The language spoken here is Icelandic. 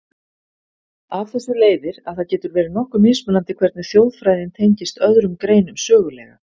Af þessu leiðir, að það getur verið nokkuð mismunandi hvernig þjóðfræðin tengist öðrum greinum sögulega.